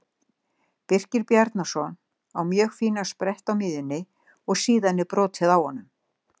Birkir Bjarnason á mjög fínan sprett á miðjunni og síðan er brotið á honum.